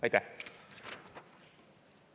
Aitäh!